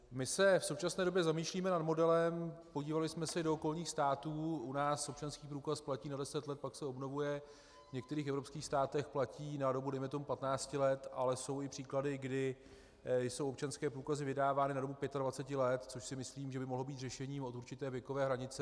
My se v současné době zamýšlíme nad modelem, podívali jsme se i do okolních států, u nás občanský průkaz platí na 10 let, pak se obnovuje, v některých evropských státech platí na dobu dejme tomu 15 let, ale jsou i příklady, kdy jsou občanské průkazy vydávány na dobu 25 let, což si myslím, že by mohlo být řešením od určité věkové hranice.